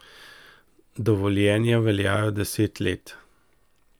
Dovoljenja veljajo deset let.